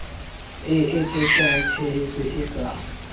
e etsetsang tshehetso e ka